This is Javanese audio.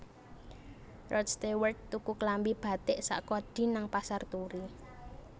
Rod Stewart tuku klambi batik sak kodi nang Pasar Turi